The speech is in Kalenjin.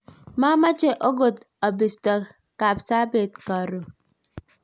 mameche akot abisto Kapsabet karon